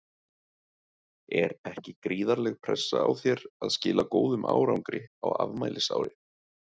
Er ekki gríðarleg pressa á þér að skila góðum árangri á afmælisári?